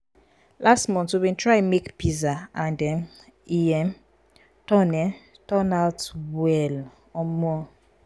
last month we bin try make pizza and um e um turn um turn out well. um